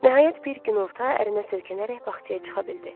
Nəhayət bir günorta ərinə söykənərək bağçaya çıxa bildi.